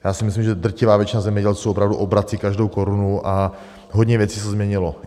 Já si myslím, že drtivá většina zemědělců opravdu obrací každou korunu a hodně věcí se změnilo.